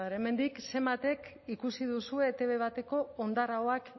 hemendik zenbatek ikusi duzue etb bateko hondar ahoak